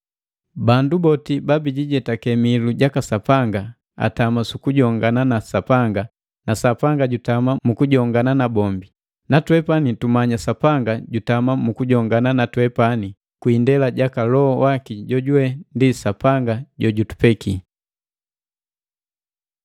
Bandu boti babijijetake mihilu jaka Sapanga atama sukujongana na Sapanga na Sapanga jutama mu kujongana nabombi. Natwepani tumanya Sapanga jutama mu kujongana na twepani kwi indela jaka Loho waki jojuwe ndi Sapanga jojutupeki.